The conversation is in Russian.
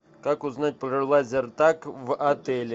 как узнать про лазертаг в отеле